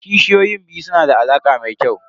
Kishiyoyin biyu su na da alaƙa mai kyau.